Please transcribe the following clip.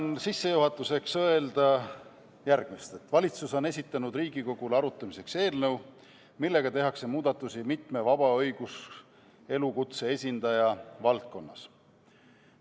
Ütlen sissejuhatuseks, et valitsus on esitanud Riigikogule arutamiseks eelnõu, millega tehakse muudatusi mitme vaba õiguselukutse esindaja valdkonnas.